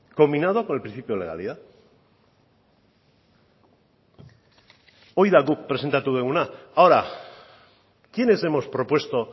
combinado con el principio de legalidad hau da guk presentatu duguna ahora quiénes hemos propuesto